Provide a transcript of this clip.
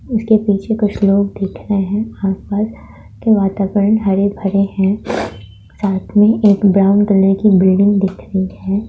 इसके पीछे कुछ लोग दिख रहे है आस-पास के वातावरण हरे-भरे है साथ मे एक ब्राउन कलर की बिल्डिंग दिख रही है।